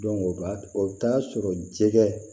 o b'a o bɛ taa sɔrɔ jɛgɛ